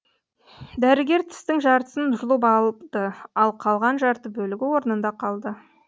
дәрігер тістің жартысын жұлып алыпты ал қалған жарты бөлігі орнында қалды